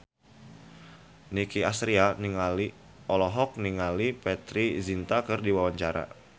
Nicky Astria olohok ningali Preity Zinta keur diwawancara